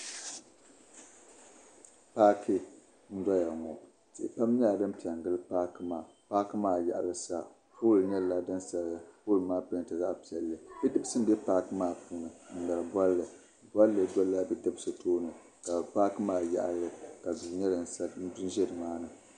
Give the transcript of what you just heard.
Paaki. n doya ŋɔ , tii kam. nyɛla din pɛn gili paaki maa, paaki maa yaɣilisa pooli nyɛla din saya ka poolimaa pɛɛntɛ zaɣi piɛli, bidibisi n be paaki maa puuni n ŋmeri bɔlli bɔlli dola bidibisi tooni ka paaki maa yaɣili ka duu nyɛ din ʒɛ nimaani.